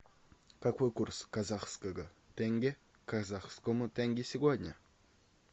какой курс казахского тенге к казахскому тенге сегодня